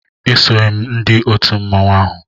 Esoghị m ndị otu mmanwụ ahụ